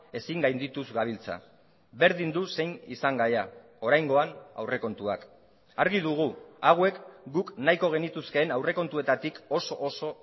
ezin gaindituz gabiltza berdin du zein izan gaia oraingoan aurrekontuak argi dugu hauek guk nahiko genituzkeen aurrekontuetatik oso oso